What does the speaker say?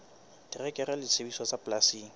terekere le disebediswa tsa polasing